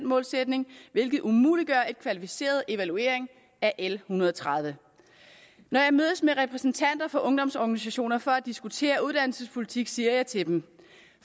målsætning hvilket umuliggør en kvalificeret evaluering af l en hundrede og tredive når jeg mødes med repræsentanter for ungdomsorganisationer for at diskutere uddannelsespolitik siger jeg til dem